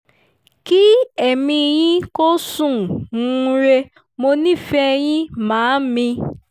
kí ẹ̀mí yín kò sùn-ún rẹ̀ mo nífẹ̀ẹ́ yín màámi